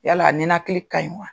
Yala a ninakili ka ɲi wa?